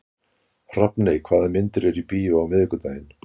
Hrafney, hvaða myndir eru í bíó á miðvikudaginn?